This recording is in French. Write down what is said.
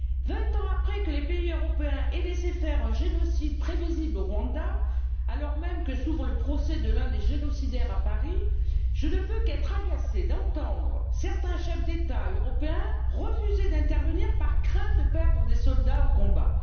Vingt ans après que les pays européens ont laissé faire un génocide prévisible au Rwanda et alors même que s'ouvre le procès de l'un des génocidaires à Paris, je ne peux qu'être agacée d'entendre certains chefs d'État européens refuser d'intervenir par crainte de perdre des soldats au combat.